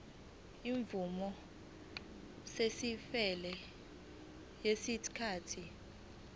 izimvume eseziphelelwe yisikhathi